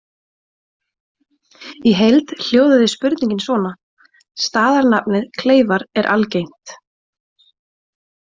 Í heild hljóðaði spurningin svona: Staðarnafnið Kleifar er algengt.